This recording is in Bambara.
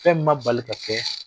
Fɛn min ma bali ka kɛ,